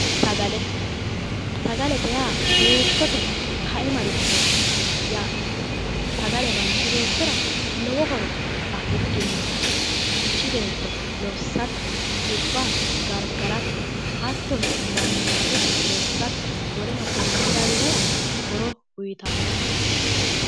Sagale sagalete yaa heeshshote kaimarichooti yaate sagale manchi beettira lowo horo afidhino manchi beetto lossatte xibba gargarate hattono manninaatesi lossate woleno konne lawinorira horo uyiitannote